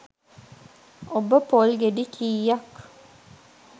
ඔබ පොල් ගෙඩි කීයක්